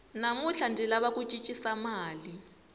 namuntlha ndzi lava ku cincisa mali